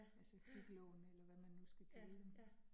Altså kviklån eller hvad, man nu skal kalde dem